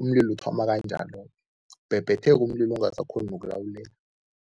umlilo uthoma kanjalo-ke, ubhebhetheke umlilo ungasakghoni nokulawuleka.